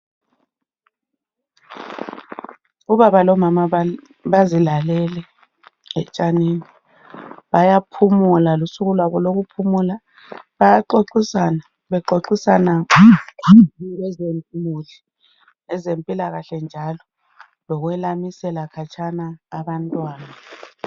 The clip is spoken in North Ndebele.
Ubaba lomama bazibalele etshanini bayaphumula lusuku kwabo lokuphumula bayaxoxisana bexoxisana ngezemuli lezempilakahle njalo lokwelamisela khatshana abantwana .